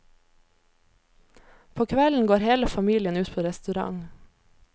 På kvelden går hele familien ut på restaurant.